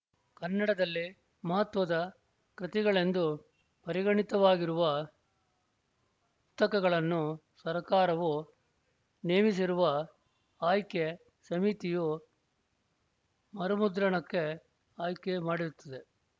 ಕನ್ನಡದಲ್ಲಿ ಮಹತ್ವದ ಕೃತಿಗಳೆಂದು ಪರಿಗಣಿತವಾಗಿರುವ ಪುಸ್ತಕಗಳನ್ನು ಸರ್ಕಾರವು ನೇಮಿಸಿರುವ ಆಯ್ಕೆ ಸಮಿತಿಯು ಮರುಮುದ್ರಣಕ್ಕೆ ಆಯ್ಕೆ ಮಾಡಿರುತ್ತದೆ